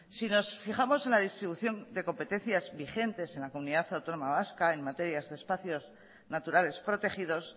si nos fijamos en la distribución de competencias vigentes en la comunidad autónoma vasca en materias de espacios naturales protegidos